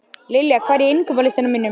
Lilja, hvað er á innkaupalistanum mínum?